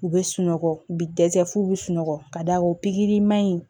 U bɛ sunɔgɔ u bɛ dɛsɛ f'u bɛ sunɔgɔ ka d'a ko pikiri maɲi